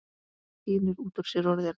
Tínir út úr sér orðin.